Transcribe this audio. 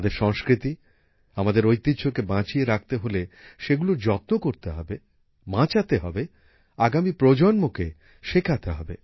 আমাদের সংস্কৃতি আমাদের ঐতিহ্যকে বাঁচিয়ে রাখতে হলে সেগুলোর যত্ন করতে হবে বাঁচাতে হবে আগামী প্রজন্মকে শেখাতে হবে